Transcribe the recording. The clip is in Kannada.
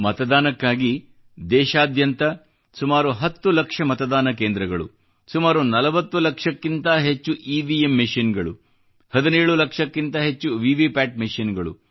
ಮತದಾನಕ್ಕಾಗಿ ಸಂಪೂರ್ಣ ದೇಶದಲ್ಲಿ ಸುಮಾರು 10 ಲಕ್ಷ ಮತದಾನ ಕೇಂದ್ರಗಳು ಸುಮಾರು 40 ಲಕ್ಷಕ್ಕಿಂತ ಹೆಚ್ಚು ಇವಿಎಂ ಮೆಶಿನ್ಗಳು 17 ಲಕ್ಷಕ್ಕಿಂತ ಹೆಚ್ಚು ವಿವಿ ಪ್ಯಾಟ್ ಮೆಶಿನ್ಗಳು